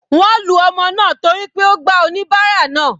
Wọ́n lu ọmọ náà torí ó gba oníbárà náà.